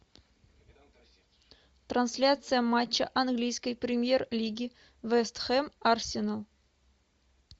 трансляция матча английской премьер лиги вест хэм арсенал